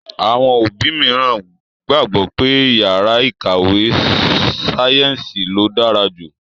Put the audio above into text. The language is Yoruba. Àwọn òbí mìíràn gbàgbọ́ pé yàrá ìkàwé sáyẹ́ǹsì ló dára jù.